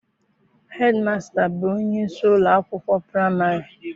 Hedimasịta bụ onyeisi ụlọakwụkwọ praịmarị.